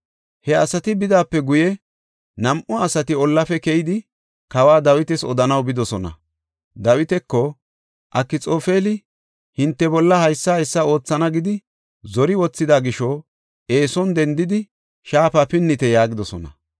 He asati bidaape guye, nam7u asati ollafe keyidi, kawa Dawitas odanaw bidosona. Dawitako, “Akxoofeli hinte bolla haysa haysa oothana gidi zori wothida gisho eeson dendidi, shaafa pinnite” yaagidosona.